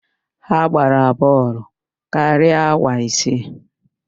Ha gbara bọọlụ karịa awa isii